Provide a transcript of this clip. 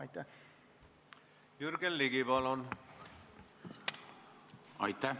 Aitäh!